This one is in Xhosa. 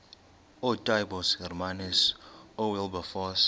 ootaaibos hermanus oowilberforce